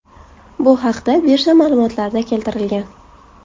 Bu haqda birja ma’lumotlarida keltirilgan .